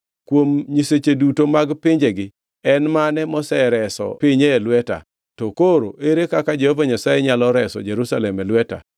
Kuom nyiseche duto mag pinjegi, en mane mosereso pinye e lweta? To koro ere kaka Jehova Nyasaye nyalo reso Jerusalem e lweta?”